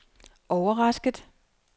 overrasket